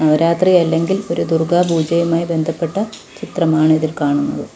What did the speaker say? നവരാത്രി അല്ലെങ്കിൽ ഒരു ദുർഗ പൂജയുമായി ബന്ധപ്പെട്ട ചിത്രമാണ് ഇതിൽ കാണുന്നത്.